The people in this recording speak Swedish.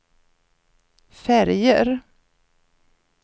färger